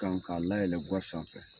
Kan k'a layɛlɛn ga sanfɛ